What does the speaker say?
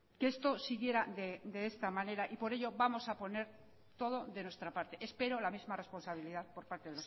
que esto siguiera de esta manera por ello vamos a poner todo de nuestra parte espero la misma responsabilidad por parte